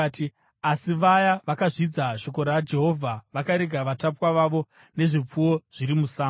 Asi vaya vakazvidza shoko raJehovha vakarega vatapwa vavo nezvipfuwo zviri musango.